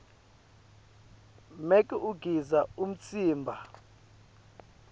make ugidza umtsimba